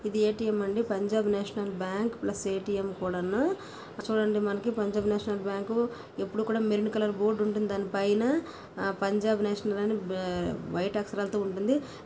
ఇది ఎ-టి-ఎం అండి Punjab National Bank plus ATM కూడాను చూడండి మనకు పంజాబ్ నేషనల్ బ్యాంకు ఎప్పుడు కూడ మెరుణ్ కలర్ బోర్డు ఉంటుంది దాని పైన పంజాబ్ నేషనల్ బ్యాంకు వె-వైట్ అక్షరాలతో ఉంటుంది.